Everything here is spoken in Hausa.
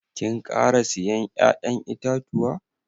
Kin kara siyan ya'yan itatuwa?